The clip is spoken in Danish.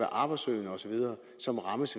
arbejdssøgende osv og så rammes